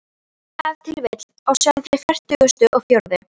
Ef til vill á sjálfri fertugustu og fjórðu.